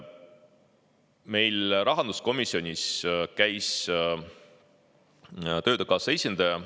Meil rahanduskomisjonis käis Töötukassa esindaja.